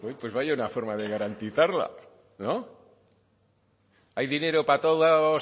pues vaya una forma de garantizarla no hay dinero para todos